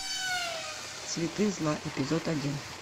цветы зла эпизод один